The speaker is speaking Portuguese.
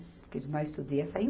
Porque de nós tudo ia sair